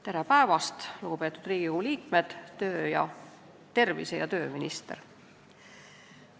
Tere päevast, lugupeetud Riigikogu liikmed ning tervise- ja tööminister!